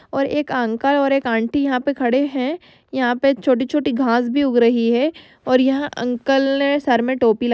और एक अंकल और एक अंटी यहाँ पे खड़े है। यहाँ पे छोटी छोटी घास भी उग रही है और ए अंकल सर मे टोपी--